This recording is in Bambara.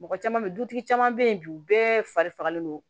Mɔgɔ caman bɛ yen dutigi caman bɛ yen bi u bɛɛ fari fagalen don